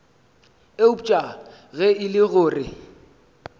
eupša ge e le gore